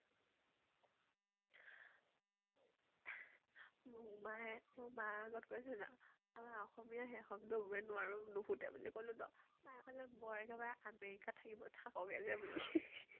মোমা মই মাৰ আগত কৈছো ন আমাৰ অসমীয়া সেই শব্দ বোৰে নোৱাৰো, নুফুতে বুলি কলো ন । মায়ে কলে বৰ একেবাৰে america ত থাকিব, থাক হে যে বুলে